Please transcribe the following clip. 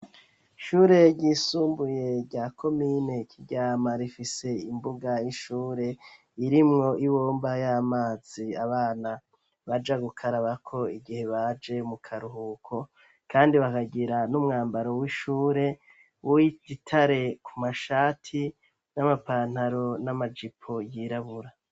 Shure ryisumbuye rya ko mine kiryama rifise imbuga y'ishure irimwo ibomba y'amazi abana baja gukarabako igihe baje mu karuhuko, kandi bagagira n'umwambaro w'ishure woigitare ku mashati n'amapantaro n'amajipo yirabura.